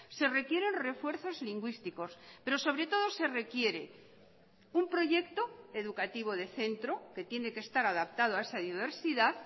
se requieren refuerzos lingüísticos pero sobre todo se requiere un proyecto educativo de centro que tiene que estar adaptado a esa diversidad